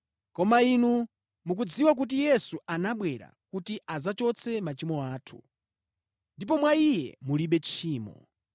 Koma inu mukudziwa kuti Yesu anabwera kuti adzachotse machimo athu. Ndipo mwa Iye mulibe tchimo.